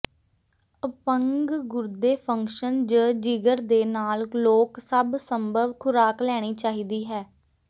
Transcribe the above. ਅਪੰਗ ਗੁਰਦੇ ਫੰਕਸ਼ਨ ਜ ਜਿਗਰ ਦੇ ਨਾਲ ਲੋਕ ਸਭ ਸੰਭਵ ਖ਼ੁਰਾਕ ਲੈਣੀ ਚਾਹੀਦੀ ਹੈ